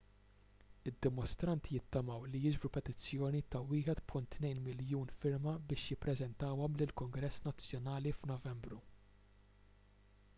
id-dimostranti jittamaw li jiġbru petizzjoni ta' 1.2 miljun firma biex jippreżentawhom lill-kungress nazzjonali f'novembru